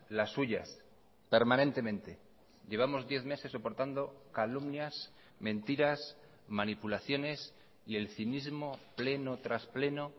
las suyas permanentemente llevamos diez meses soportando calumnias mentiras manipulaciones y el cinismo pleno tras pleno